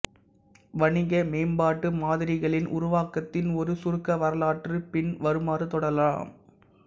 வணிக மேம்பாட்டு மாதிரிகளின் உருவாக்கத்தின் ஒரு சுருக்க வரலாறு பின் வருமாறு தொடரலாம்